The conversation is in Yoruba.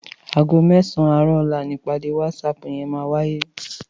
Àgó mèsán àárò òlá nipàdé wàtsáp yèn màwáyé